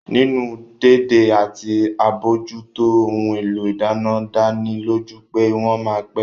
Nínú dédé àti àbójútó ohun èlò ìdáná dánilójú pé wọ́n ma pẹ́